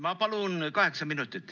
Ma palun kaheksa minutit.